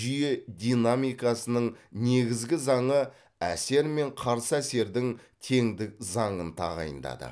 жүйе динамикасының негізгі заңы әсер мен қарсы әсердің теңдік заңын тағайындады